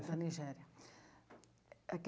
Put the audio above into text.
Na Nigéria.